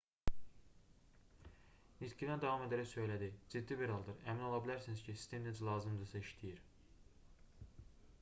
nitqinə davam edərək söylədi ciddi bir haldır əmin ola bilərsiniz ki sistem necə lazımdırsa işləyir